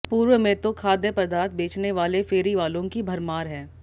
पूर्व में तो खाद्य पदार्थ बेचने वाले फेरीवालों की भरमार है